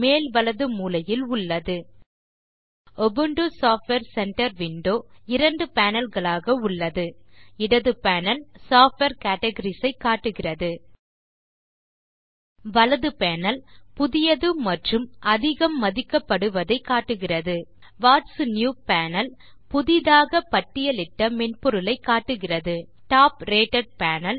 மேல் வலது மூலையில் உள்ளது உபுண்டு சாஃப்ட்வேர் சென்டர் விண்டோ இரண்டு பேனல் களாக உள்ளது இடது பேனல் சாஃப்ட்வேர் கேட்டகோரீஸ் ஐ காட்டுகிறது வலது பேனல் புதியது மற்றும் அதிகம் மதிக்கப்படுவதை காட்டுகிறது வாட்ஸ் நியூ பேனல் புதிதாக பட்டியலிட்ட மென்பொருளை காட்டுகிறது டாப் ரேட்டட் பேனல்